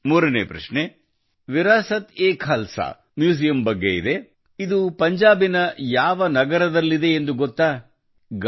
ಮೂರನೇ ಪ್ರಶ್ನೆ ವಿರಾಸತ್ಎಖಲ್ಸಾ ಮ್ಯೂಸಿಯಂ ಬಗ್ಗೆ ಇದೆ ಇದು ಪಂಜಾಬಿನ ಯಾವ ನಗರದಲ್ಲಿದೆ ಎಂದು ಗೊತ್ತಾ೬